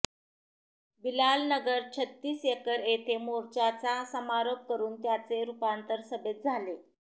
बिलालनगर छत्तीस एकर येथे मोर्चाचा समारोप करून त्याचे रूपांतर सभेत झाले